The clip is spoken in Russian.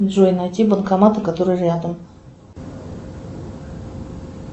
джой найти банкоматы которые рядом